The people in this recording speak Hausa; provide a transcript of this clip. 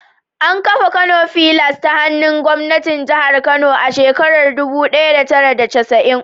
An kafa Kano fillars ta hannun gwamnatin jihar Kano a shekarar dubu daya da tara da casa'in.